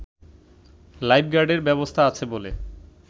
life গার্ডের ব্যবস্থা আছে বলে